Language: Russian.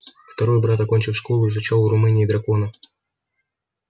второй брат окончив школу изучал в румынии драконов